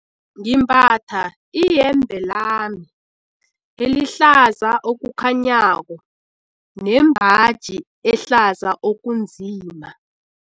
Ngimbatha iyembe lami elihlaza okukhanyako nembaji ehlaza okunzima.